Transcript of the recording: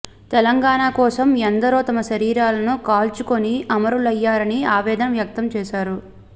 తెలంగాణ కోసం ఎందరో తమ శరీరాలను కాల్చుకుని అమరులయ్యారని ఆవేదన వ్యక్తం చేశారు